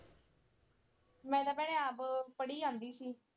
ਮੈਂ ਤਾਂ ਭੈਣੇ ਆਪ ਪੜ੍ਹੀ ਜਾਂਦੀ ਸੀ।